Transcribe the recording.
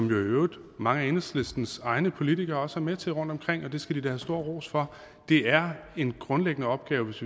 i øvrigt mange af enhedslistens egne politikere også er med til rundtomkring og det skal de da have stor ros for det er en grundlæggende opgave hvis